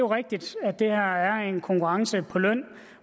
rigtigt at det her er konkurrence på løn